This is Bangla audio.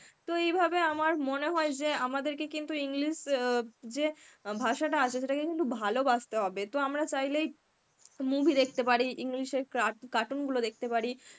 তো এইভাবে আমার মনে হয় যে আমাদেরকে কিন্তু English অ্যাঁ যে ভাষাটা আছে সেটাকে কিন্তু ভালবাসতে হবে. তো আমরা চাইলেই movie দেখতে পারি english এর car~ cartoon গুলো দেখতে পারি.